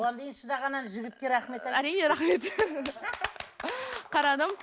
оған дейін шыдаған ана жігітке рахмет әрине рахмет қарадым